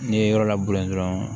N'i ye yɔrɔ labɔ dɔrɔn